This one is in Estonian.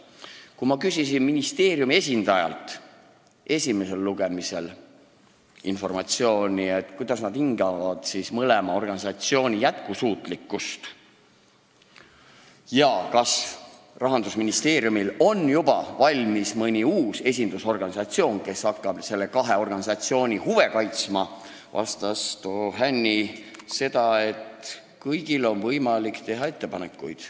Kui ma küsisin ministeeriumi esindajalt esimesel lugemisel informatsiooni, milliseks nad hindavad mõlema organisatsiooni jätkusuutlikkust ja kas Rahandusministeeriumil on juba valmis mõni uus esindusorganisatsioon, kes hakkab selle kahe senise ühenduse huve kaitsma, siis vastas too Hänni seda, et kõigil on võimalik teha ettepanekuid.